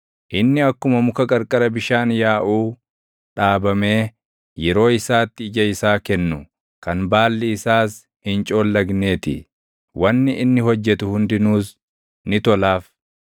Inni akkuma muka qarqara bishaan yaaʼuu dhaabamee yeroo isaatti ija isaa kennu, kan baalli isaas hin coollagnee ti; wanni inni hojjetu hundinuus ni tolaaf.